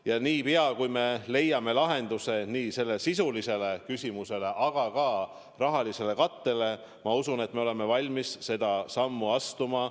Ja niipea kui me leiame lahenduse nii sellele sisulisele küsimusele kui ka rahalisele kattele, ma usun, et me oleme valmis selle sammu astuma.